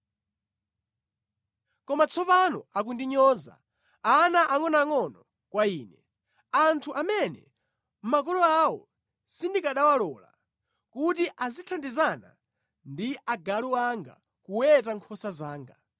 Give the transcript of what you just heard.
“Koma tsopano akundinyoza, ana angʼonoangʼono kwa ine, anthu amene makolo awo sindikanawalola kuti azithandizana ndi agalu anga kuweta nkhosa zanga.